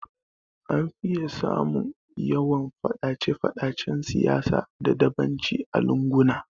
An fiye samun yawan Faɗace Faɗacen siyasa da dabanci a lunguna